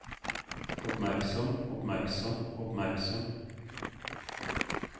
oppmerksom oppmerksom oppmerksom